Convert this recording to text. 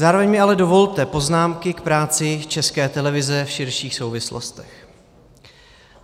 Zároveň mi ale dovolte poznámky k práci České televize v širších souvislostech.